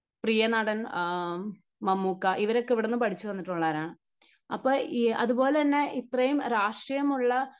പ്രിയ നടൻ മമ്മൂക്ക ഇവരൊക്കെ എവിടെ നിന്ന് പഠിച്ച വന്നിട്ടുള്ളവരാണ്. അപ്പൊ, അതുപോലെതന്നെ ഇത്രയും രാഷ്ട്രീയമുള്ള